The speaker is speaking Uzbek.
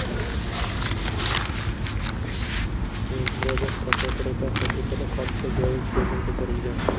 Murojaat prokuraturada qayd etilib, hodisa joyi ko‘zdan kechirilgan.